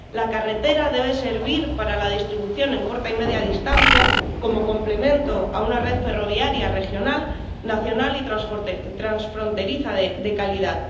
La carretera debe servir para la distribución en corta y media distancia, como complemento de una red ferroviaria regional, nacional y transfronteriza de calidad.